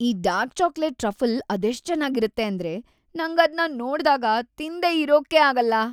ಈ dark chocolate truffle ಅದೆಷ್ಟ್‌ ಚೆನಾಗಿರತ್ತೆ ಅಂದ್ರೆ ನಂಗದ್ನ ನೋಡ್ದಾಗ ತಿನ್ದೇ ಇರೋಕೇ ಆಗಲ್ಲ.